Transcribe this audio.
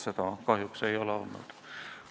Seda ei ole kahjuks olnud.